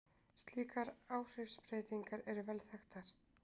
Slíkar áhrifsbreytingar eru vel þekktar.